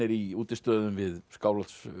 í útistöðum við Skálholt